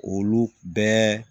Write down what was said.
Olu bɛɛ